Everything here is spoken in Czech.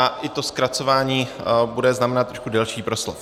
A i to zkracování bude znamenat trošku delší proslov.